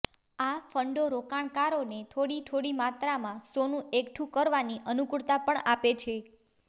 આ ફંડો રોકાણકારોને થોડી થોડી માત્રામાં સોનું એકઠું કરવાની અનુકૂળતા પણ આપે છે